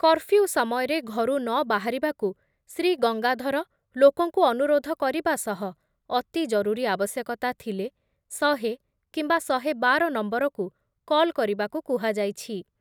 Curfew ସମୟରେ ଘରୁ ନବାହାରିବାକୁ ଶ୍ରୀ ଗଙ୍ଗାଧର ଲୋକଙ୍କୁ ଅନୁରୋଧ କରିବା ସହ ଅତି ଜରୁରୀ ଆବଶ୍ୟକ‌ତା ଥିଲେ ଶହେ କିମ୍ବା ଶହେ ବାର ନମ୍ବରକୁ କଲ୍ କରିବାକୁ କୁହାଯାଇଛି ।